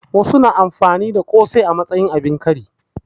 Wasu su na amfani da ƙosai a matsayin abin kari